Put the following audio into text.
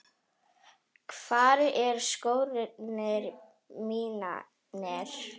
Hvar eru skórnir mínir?